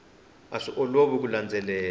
a swi olovi ku landzelela